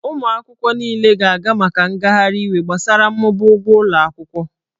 Ụmụ akwụkwọ niile ga-aga maka ngagharị iwe gbasara mmụba ụgwọ akwụkwọ.